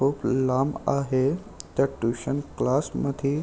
खूप लांब आहे त्या ट्युशन क्लास मध्ये--